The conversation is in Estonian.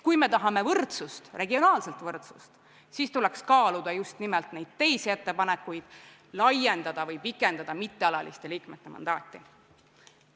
Kui me tahame regionaalset võrdsust, siis tuleks kaaluda just nimelt ettepanekuid liikmeskonda laiendada või pikendada mittealaliste liikmete mandaati.